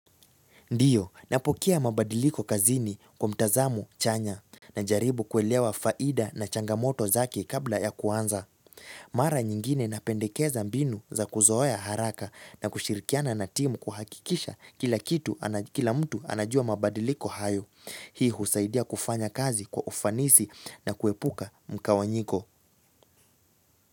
Ndiyo, napokea mabadiliko kazini kwa mtazamo chanya. Najaribu kuelewa faida na changamoto zake kabla ya kuanza. Mara nyingine napendekeza mbinu za kuzoea haraka na kushirikiana na timu kuhakikisha kila kitu, kila mtu anajua mabadiliko hayo. Hii husaidia kufanya kazi kwa ufanisi na kuepuka mgawanyiko.